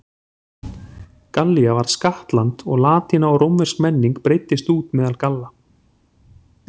Gallía varð skattland og latína og rómversk menning breiddist út meðal Galla.